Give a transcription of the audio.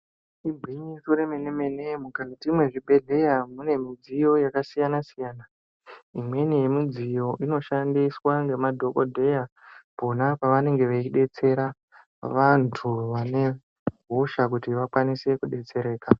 Igwinyiso remenemene mukati mwezvibhehleya mune midziyo yakasiyanasiyana imweni yemidziyo inoshandiswa ngemadhokodheya pona pavanenge veidetsera vantu vane hosha kuti vakwanise kudetsereka.